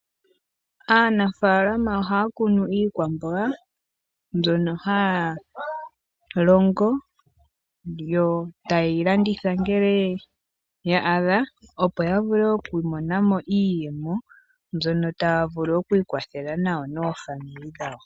Aanafaalama oha ya kunu iikwamboga, mbyono ha ya longo yo ta ye yi landitha ngele ya adha opo ya vule okwiimonena mo iiyemo, mbyono ta ya vulu oku ikwathela nayo noofamili dhawo.